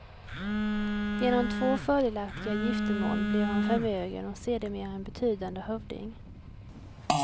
Genom två fördelaktiga giftermål blev han förmögen och sedermera en betydande hövding.